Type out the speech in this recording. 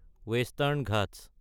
western Ghats